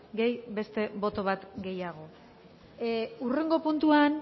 gehi beste boto bat gehiago hurrengo puntuan